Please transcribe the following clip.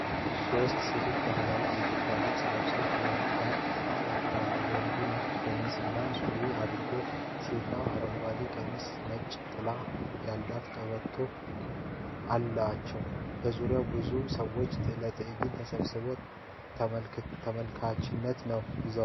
ሶስት ሴቶች በባህላዊ የኢትዮጵያ ልብስ ለብሰው ከወንድ ጋር ይጨፍራሉ። ወንዱ ነጭ ሸሚዝ እና ሱሪ አድርጓል። ሴቶቹ አረንጓዴ ቀሚሶችና ነጭ ጥለት ያላቸው ቀበቶዎች አላቸው። በዙሪያው ብዙ ሰዎች ለትዕይንቱ ተሰብስበው ተመልካችነት ይይዛሉ።